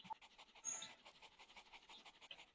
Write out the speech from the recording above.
Blær, hvernig kemst ég þangað?